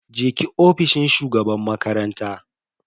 je ki ofishin shugaban makaranta.